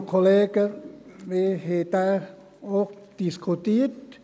Wir haben dies auch diskutiert.